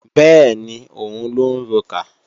Bẹ́ẹ̀ni, òun lọ ń rokà